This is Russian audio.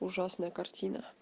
ужасная картина